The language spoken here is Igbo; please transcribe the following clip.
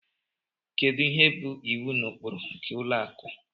Kedu ihe bụ iwu na ụkpụrụ nke ụlọ akụ